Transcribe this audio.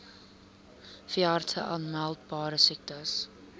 veeartse aanmeldbare siektes